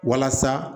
Walasa